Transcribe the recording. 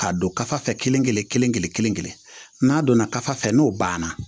K'a don kafo fɛ kelen kelen kelen kelen kelen n'a donna kaf fɛ n'o banna